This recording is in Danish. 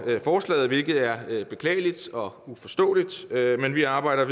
forslaget hvilket er beklageligt og uforståeligt men vi arbejder